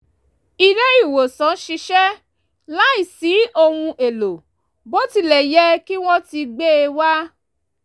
ilé ìwòsàn ṣiṣẹ́ láìsí ohun èlò bó tilẹ̀ yẹ kí wọ́n ti gbe e wa